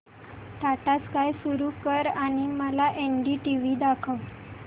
Tata Sky सुरू कर आणि मला एनडीटीव्ही दाखव